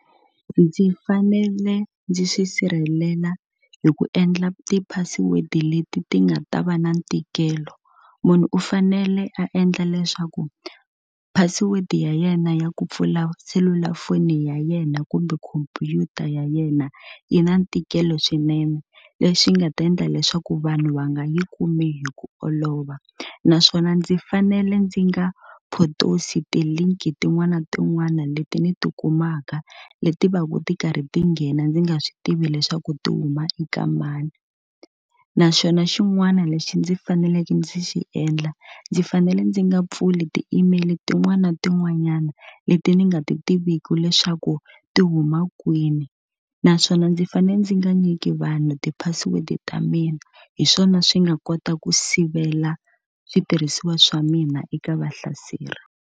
Ndzi fanele ndzi swi sirhelela hi ku endla ti-password-i leti ti nga ta va na ntikelo. Munhu u fanele a endla leswaku password-i ya yena ya ku pfula selulafoni ya yena kumbe khompyuta ya yena yi na ntikelo swinene, leswi nga ta endla leswaku vanhu va nga yi kumi hi ku olova. Naswona ndzi fanele ndzi nga potosi ti-link-i tin'wana na tin'wana leti ni ti kumaka, leti va ku ti karhi ti nghena ndzi nga swi tivi leswaku ti huma eka mani. Na xona xin'wana lexi ndzi faneleke ndzi xi endla, ndzi fanele ndzi nga pfuli ti-email tin'wana na tin'wanyana leti ndzi nga ti tiviki leswaku ti huma ha kwini. Naswona ndzi fanele ndzi nga nyiki vanhu ti-password-i ta mina. Hi swona swi nga kota ku sivela switirhisiwa swa mina eka vahlaseri.